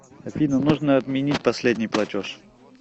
афина нужно отменить последний платеж